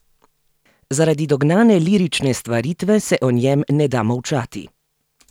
Zaradi dognane lirične stvaritve se o njem ne da molčati!